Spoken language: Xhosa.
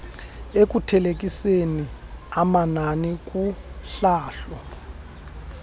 ekuthelekiseni amanani kuhlahlo